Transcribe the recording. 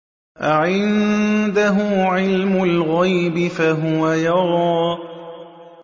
أَعِندَهُ عِلْمُ الْغَيْبِ فَهُوَ يَرَىٰ